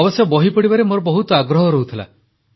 ଅବଶ୍ୟ ବହି ପଢ଼ିବାରେ ମୋର ବହୁତ ଆଗ୍ରହ ରହୁଥିଲା